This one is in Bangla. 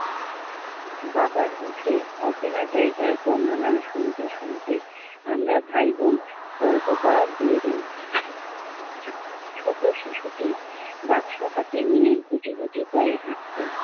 বাবার মুখে অচেনা জায়গার বর্ণনা শুনতে শুনতে আমরা ভাইবোন তর্ক করা ভুলে যাই। ছোট শিশুটি বাক্স হাতে নিয়ে গুটি গুটি পায়ে হাঁটছে।